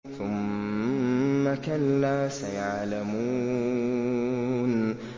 ثُمَّ كَلَّا سَيَعْلَمُونَ